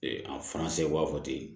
a b'a fɔ ten